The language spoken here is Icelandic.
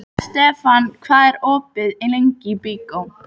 Estefan, hvað er opið lengi í Byko?